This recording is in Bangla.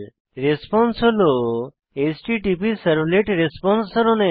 রেসপন্সে হল হাটপসার্ভলেট্রেসপন্সে ধরনের